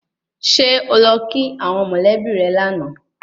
Ṣé o lọ kí àwọn mọ̀lẹ́bí rẹ lánàá